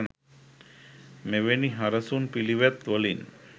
මෙවැනි හරසුන් පිළිවෙත් වලින්